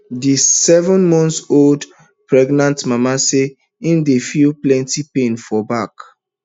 di sevenmonthold pregnant mama say im dey feel plenty pain for back